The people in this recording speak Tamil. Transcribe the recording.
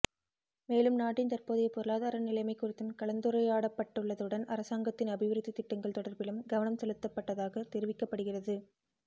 மேலும் நாட்டின் தற்போதைய பொருளாதார நிலைமை குறித்தும் கலந்துரையாடப்பட்டுள்ளதுடன் அரசாங்கத்தின் அபிவிருத்தித் திட்டங்கள் தொடர்பிலும் கவனம் செலுத்தப்பட்டதாகத் தெரிவிக்கப்படுகிறது